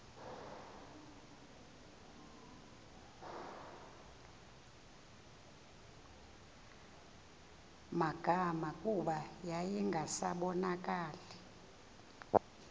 magama kuba yayingasabonakali